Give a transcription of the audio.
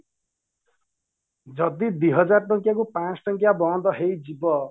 ଯଦି ଦିହଜାର ଟଙ୍କିଆ କୁ ପଞ୍ଚଶହ ଟଙ୍କିଆ ବନ୍ଦ ହେଇଯିବ